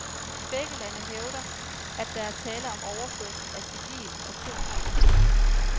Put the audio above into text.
Begge lande hævder, at der er tale om overførsel af civil atomteknologi.